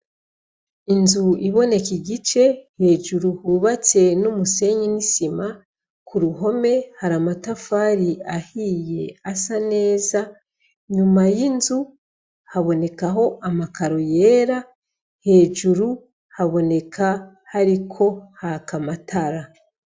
Inzu iboneka igice hejuru hubatse n'umusenyi n'isima ku ruhome hari amatafari ahiye asa neza nyuma y'inzu habonekaho amakaro yera hejuru haboneka hariko ha kamatara.